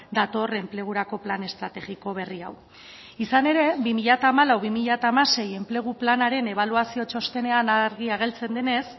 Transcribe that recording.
dator enplegurako plan estrategiko berri hau izan ere bi mila hamalau bi mila hamasei enplegu planaren ebaluazio txostenean argi agertzen denez